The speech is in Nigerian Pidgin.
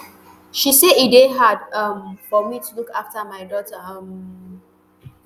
she say e dey hard um for me to look afta my daughter um